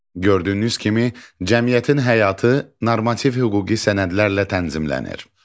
Gördüyünüz kimi, cəmiyyətin həyatı normativ hüquqi sənədlərlə tənzimlənir.